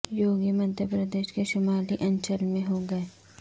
یوگی مدھیہ پردیش کے شمالی انچل میں ہوں گے